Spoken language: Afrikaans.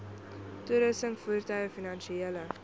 toerusting voertuie finansiële